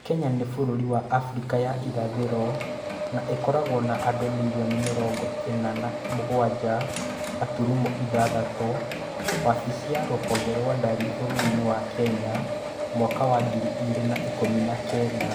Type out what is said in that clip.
Kenya nĩ bũrũri wa Afrika ya Irathĩro na ĩkoragwo na andũ mirioni mĩrongo ĩna na mũgwanja gaturumo ithathatũ - Wabici ya Rũhonge rwa dari Bũrũri wa Kenya, mwaka wa ngiri igĩrĩ na ikũmi na kenda).